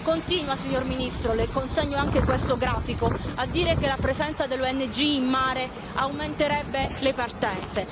Continua, signor Primo ministro, le consegno anche questo grafico, a dire che la presenza delle ONG in mare aumenterebbe le partenze.